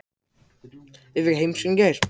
Ég fékk heimsókn í gær.